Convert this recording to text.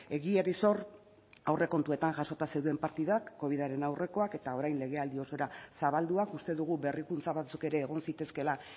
egiari sor aurrekontuetan jasota zeuden partidak covidaren aurrekoak eta orain legealdi osora zabalduak uste dugu berrikuntza batzuk ere egon zitezkeela